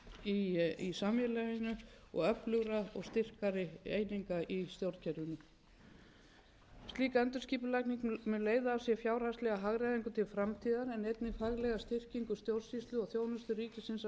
í samfélaginu og öflugra og styrkari eininga í stjórnkerfinu slík endurskipulagning mun leiða af sér fjárhagslega hagræðingu til framtíðar en einnig faglega styrkingu þjónustu ríkisins á mörgum sviðum ég er sannfærð um að þessi breyting á stjórnarráðinu mun ekki aðeins auðvelda